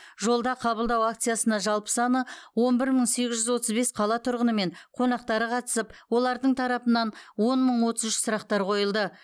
жолда қабылдау акциясына жалпы саны он бір мың сегіз жүз отыз бес қала тұрғыны мен қонақтары қатысып олардың тарапынан он мың отыз үш сұрақтар қойылды